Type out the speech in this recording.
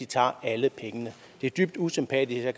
tager alle pengene det er dybt usympatisk og